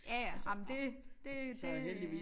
Ja ja ej men det det det øh